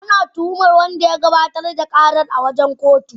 Ana tuhumar wanda ya gabatar da karar a gaban kotu.